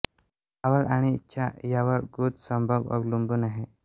आवड आणि इच्छा यां वर गुद संभोग अवलंबून आहे